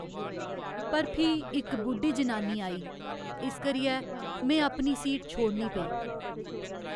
पर फ्ही इक बुड्ढी जनानी आई इस करियै में अपनी सीट छोड़नी पेई।